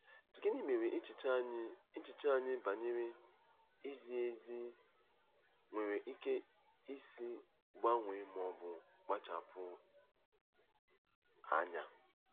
Gịnị mere echiche anyị echiche anyị banyere izi ezi nwere ike isi gbanwee ma ọ bụ kpachapụ anya?